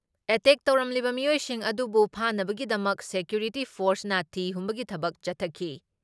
Attack ꯇꯧꯔꯝꯂꯤꯕ ꯃꯤꯑꯣꯏꯁꯤꯡ ꯑꯗꯨꯕꯨ ꯐꯥꯅꯕꯒꯤꯗꯃꯛ ꯁꯦꯀ꯭ꯌꯨꯔꯤꯇꯤ ꯐꯣꯔꯁꯅ ꯊꯤ ꯍꯨꯝꯕꯒꯤ ꯊꯕꯛ ꯆꯠꯊꯈꯤ ꯫